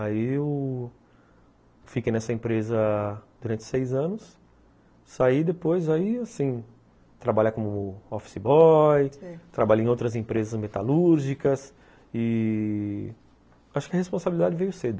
Aí eu fiquei nessa empresa durante seis anos, saí depois, aí assim, trabalhar com o Office Boy, trabalhei em outras empresas metalúrgicas e acho que a responsabilidade veio cedo.